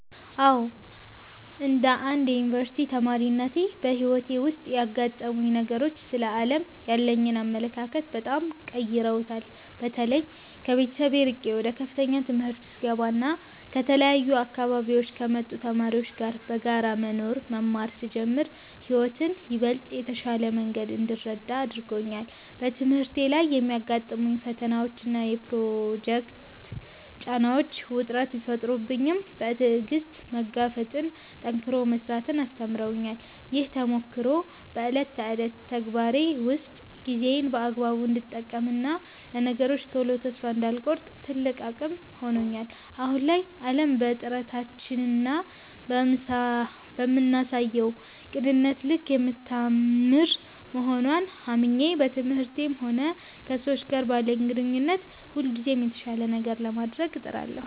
አዎ፣ እንደ አንድ የዩኒቨርሲቲ ተማሪነቴ በሕይወቴ ውስጥ ያጋጠሙኝ ነገሮች ስለ ዓለም ያለኝን አመለካከት በጣም ቀይረውታል። በተለይ ከቤተሰብ ርቄ ወደ ከፍተኛ ትምህርት ስገባና ከተለያዩ አካባቢዎች ከመጡ ተማሪዎች ጋር በጋራ መኖርና መማር ስጀምር ሕይወትን ይበልጥ በተሻለ መንገድ እንድረዳት አድርጎኛል። በትምህርቴ ላይ የሚያጋጥሙኝ ፈተናዎችና የፕሮጀክት ጫናዎች ውጥረት ቢፈጥሩብኝም፣ በትዕግሥት መጋፈጥንና ጠንክሮ መሥራትን አስተምረውኛል። ይህ ተሞክሮ በዕለት ተዕለት ተግባሬ ውስጥ ጊዜዬን በአግባቡ እንድጠቀምና ለነገሮች ቶሎ ተስፋ እንዳልቆርጥ ትልቅ አቅም ሆኖኛል። አሁን ላይ ዓለም በጥረታችንና በምናሳየው ቅንነት ልክ የምታምር መሆንዋን አምኜ፣ በትምህርቴም ሆነ ከሰዎች ጋር ባለኝ ግንኙነት ሁልጊዜም የተሻለ ነገር ለማድረግ እጥራለሁ።